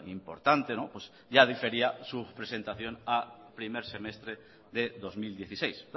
importante ya difería su presentación a primer semestre de dos mil dieciséis